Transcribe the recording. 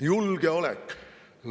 Julgeolek!